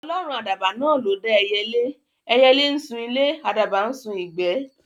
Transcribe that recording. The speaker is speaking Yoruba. Ọlọ́run àdàbà náà ló dá ẹyẹlé; ẹyẹlé ńsun ilé, àdàbà ńsun ìgbẹ́